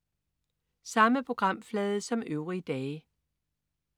Samme programflade som øvrige dage